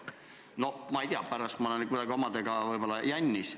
No ma ei tea, pärast olen kuidagi omadega võib-olla jännis.